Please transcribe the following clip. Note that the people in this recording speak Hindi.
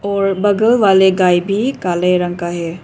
और बगल वाले गाय भी काले रंग का है।